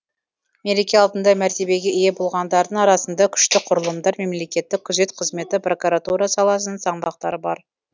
мереке алдында мәртебеге ие болғандардың арасында күшті құрылымдар мемлекеттік күзет қызметі прокуратура саласының саңлақтары бар